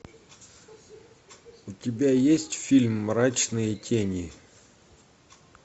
у тебя есть фильм мрачные тени